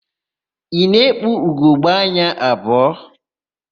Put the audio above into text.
Ị na-ekpu ugogbeanya abụọ?